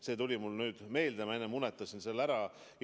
See tuli mulle meelde, ma infotunni alguses unustasin selle ära.